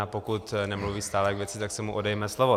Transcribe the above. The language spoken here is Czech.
A pokud nemluví stále k věci, tak se mu odejme slovo.